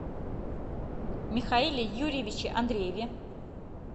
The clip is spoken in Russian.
михаиле юрьевиче андрееве